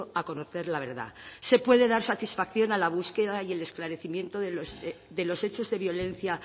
a conocer la verdad se puede dar satisfacción a la búsqueda y el esclarecimiento de los hechos de violencia